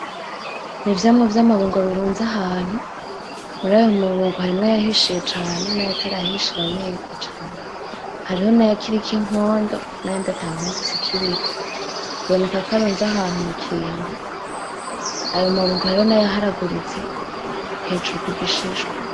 N'ivyamwa vyamabungo birunze ahantu murayo mabungo harimwo ayahishiye cane nayatarahishira neza cane. Hariho nayakiriko inkondo nayandi atankondo zikiriko bibonekako arunze ahantu mukintu ayo mabungo hariho nayaharaguritse hejuru kugishishwa.